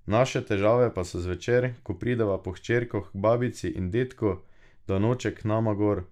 Naše težave pa so zvečer, ko prideva po hčerko k babici in dedku, da noče k nama gor.